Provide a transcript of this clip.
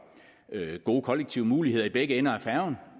gode kollektive muligheder i begge ender af færgen